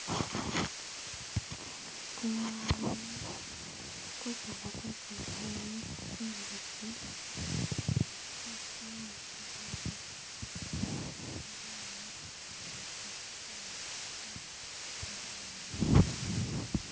Tsimwani , kusala kwe tsimwani tsimbisi.....